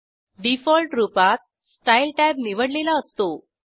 default रूपातStyle tab निवडलेला असतो